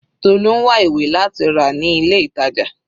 Tolu ń wá ìwé láti rà ní ilé ìtàjà.